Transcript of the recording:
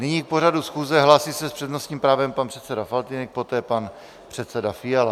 Nyní k pořadu schůze se hlásí s přednostním právem pan předseda Faltýnek, poté pan předseda Fiala.